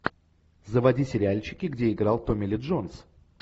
заводи сериальчики где играл томми ли джонс